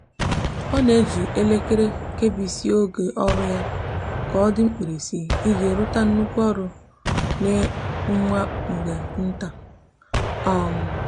o n'eji elekere kebisia oge oru ya ya ka odi n'mkpirisi iji ruta nnukwu oru n'nwa mgbe nta